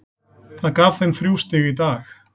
Það gaf þeim þrjú stig í dag.